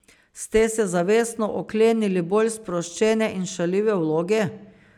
Ste se zavestno oklenili bolj sproščene in šaljive vloge?